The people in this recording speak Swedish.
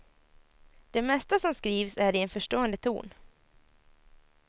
Det mesta som skrivs är i en förstående ton.